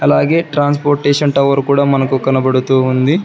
అలాగే transportation tower కూడా మనకు కనబడుతూ ఉంది.